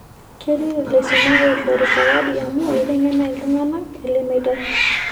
Ketii laisumak oishori sawadi amu eitengena iltungana ele meitai.